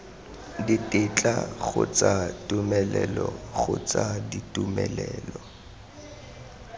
ditetla kgotsa tumelelo kgotsa ditumelelo